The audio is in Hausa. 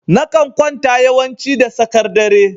Na kan kwanta yawanci da tsakar dare.